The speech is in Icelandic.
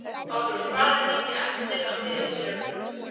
Álfur, hvað er mikið eftir af niðurteljaranum?